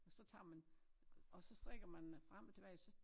Og så tager man og så strikker man frem og tilbage så